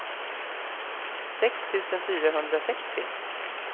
sex tusen fyrahundrasextio